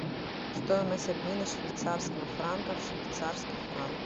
стоимость обмена швейцарского франка в швейцарский франк